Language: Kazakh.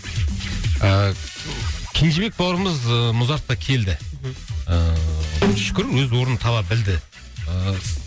ыыы кенжебек бауырымыз ыыы музартқа келді ыыы шүкір өз орнын таба білді